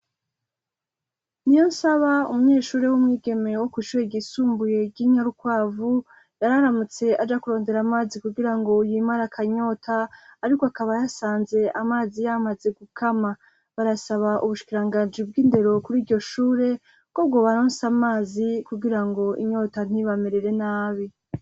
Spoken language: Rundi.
Niyonsaba, umunyeshure w'umwigeme wo kw'ishure ryisumbuye ry'i Narukwavu yararamutse aja kurondera amazi kugira ngo yimare akanyota, ariko akaba yasanze amazi yamaze gukama. Barasaba ubushikiranganji bw'indero kuri iryo shure, ko bwobaronsa amazi kugira inyota ntibamerere nabi.